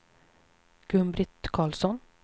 Gun-Britt Karlsson